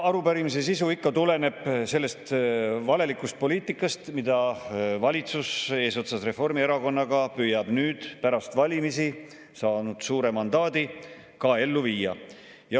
Arupärimise sisu tuleneb ikka sellest valelikust poliitikast, mida valitsus eesotsas Reformierakonnaga püüab nüüd pärast valimisi, saanud suure mandaadi, ka ellu viia.